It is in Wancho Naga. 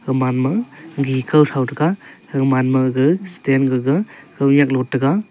haman ma gekhou thou taiga hagamaga stand gaga khounyak lotaiga.